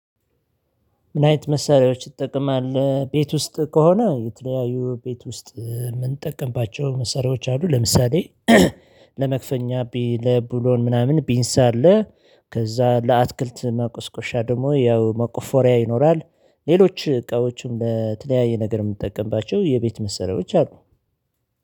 ምን አይነት መሳሪያዎች ትጠቀማለህ ቤት ውስጥ ከሆነ የተለያዩ ቤት ውስጥ የምንጠቀምባቸው መሳሪያወች አሉ። ለምሳሌ ለመፍቻ ለብሎን ምናምን ፔንሳ አለ። ከዛ ለአትክልት መቆስቆሻ ደግሞ ያው መቆፎሪያ ይኖራል። ሌሎች እቃዎችም ለተለያየ ነገር የምጠቀምባቸው የቤት መሰረቶች አሉ።